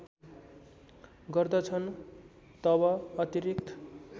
गर्दछन् तब अतिरिक्त